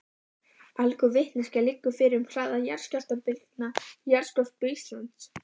Allgóð vitneskja liggur fyrir um hraða jarðskjálftabylgna í jarðskorpu Íslands.